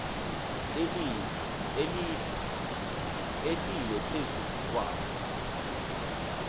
ehlile phezu kwawo